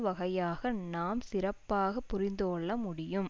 வகையாக நாம் சிறப்பாக புரிந்துகொள்ள முடியும்